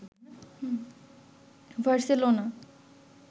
Barcelona